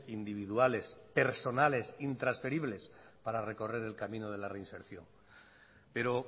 individuales personales intransferibles para recorrer el camino de la reinserción pero